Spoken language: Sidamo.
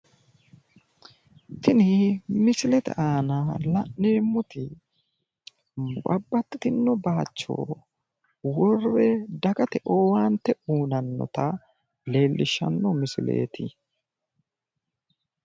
Tiin misilete aana la'neemoti babaxxinno baacho worre dagate owaante uutannota leellishshanno misileeti